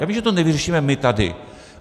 Já vím, že to nevyřešíme my tady.